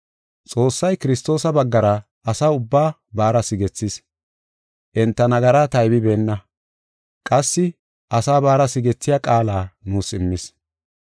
Xoossay Kiristoosa baggara asa ubbaa baara sigethees. Enta nagaraa taybibeenna; qassi asaa baara sigethiya qaala nuus immis.